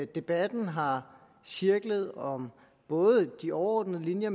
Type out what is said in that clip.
debatten har cirklet om både de overordnede linjer